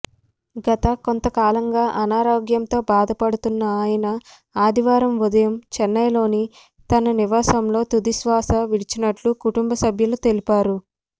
గత కొంతకాలంగా అనారోగ్యంతో బాధపడుతున్న ఆయన ఆదివారం ఉదయం చెన్నైలోని తన నివాసంలో తుదిశ్వాస విడిచినట్లు కుటుంబ సభ్యులు తెలిపారు